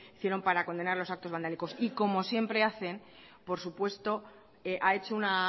hicieron para condenar los actos vandálicos y como siempre hacen por supuesto ha hecho una